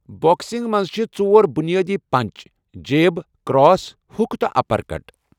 بو٘کسِنٛگہِ منٛز چھِ ژۄر بٗنِیٲدی پنچ جیب، کرٛاس، ہُک تہٕ اَپر کٹ